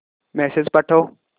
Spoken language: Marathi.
मेसेज पाठव